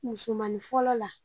Musomani fɔlɔ la.